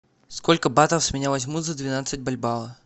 сколько батов с меня возьмут за двенадцать бальбоа